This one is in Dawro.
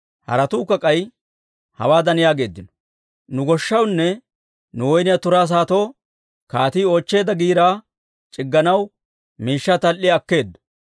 Haratuukka k'ay hawaadan yaageeddino; «Nu goshshawunne nu woyniyaa turaa saatoo kaatii oochcheedda giiraa c'igganaw miishshaa tal"iyaa akkeeddo.